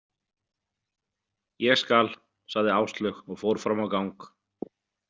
Ég skal, sagði Áslaug og fór fram á gang.